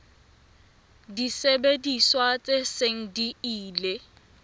disebediswa tse seng di ile